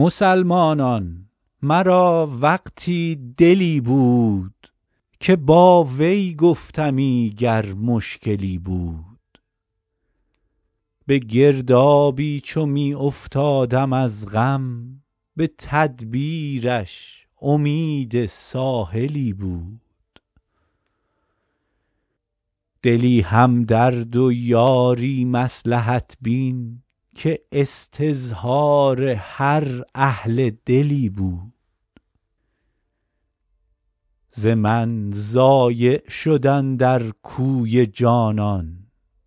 مسلمانان مرا وقتی دلی بود که با وی گفتمی گر مشکلی بود به گردابی چو می افتادم از غم به تدبیرش امید ساحلی بود دلی همدرد و یاری مصلحت بین که استظهار هر اهل دلی بود ز من ضایع شد اندر کوی جانان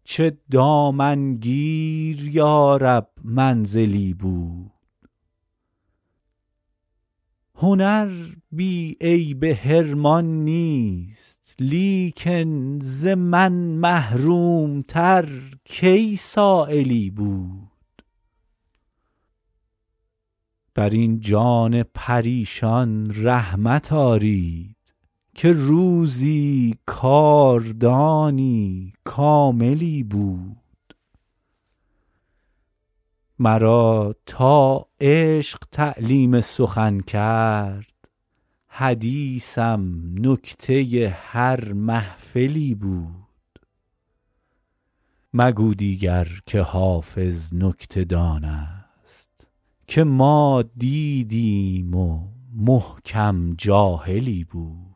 چه دامنگیر یا رب منزلی بود هنر بی عیب حرمان نیست لیکن ز من محروم تر کی سایلی بود بر این جان پریشان رحمت آرید که وقتی کاردانی کاملی بود مرا تا عشق تعلیم سخن کرد حدیثم نکته هر محفلی بود مگو دیگر که حافظ نکته دان است که ما دیدیم و محکم جاهلی بود